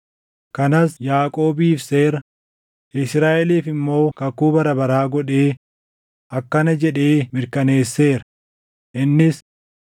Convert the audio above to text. Kanas Yaaqoobiif seera, Israaʼeliif immoo kakuu bara baraa godhee // akkana jedhee mirkaneesseera; innis: